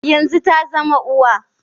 Yanzu ta zama uwa.